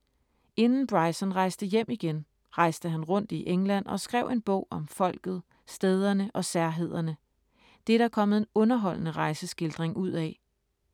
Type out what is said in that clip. Inden Bryson rejste hjem igen, rejste han rundt i England og skrev en bog om folket, stederne og særhederne. Det er der kommet en underholdende rejseskildring ud af.